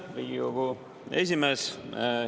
Aitäh, Riigikogu esimees!